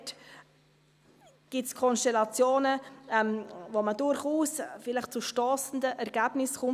Da gibt es Konstellationen, bei denen man vielleicht durchaus zu stossenden Ergebnissen kommt.